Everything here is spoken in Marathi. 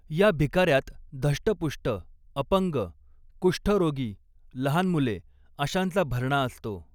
या भिकार्यात धष्टपुष्ट, अपंग, कुष्ठरोगी, लहान मुले अशांचा भरणा असतो.